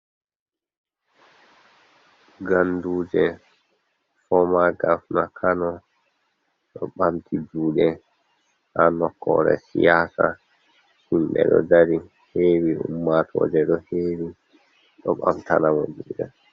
Ganduje foma gafna kano ɗo ɓamti juɗe ha nokkore siyasa, himɓɓe ɗo dari hewi, ummatoje ɗo hewi ɗo ɓamta namo juɗe.